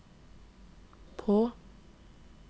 på